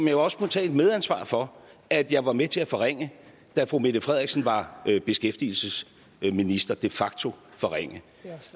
jo også må tage et medansvar for at jeg var med til at forringe da fru mette frederiksen var beskæftigelsesminister de facto forringe